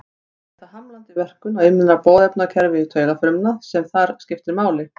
Líklega er það hamlandi verkun á innra boðefnakerfi taugafrumna sem þar skiptir máli.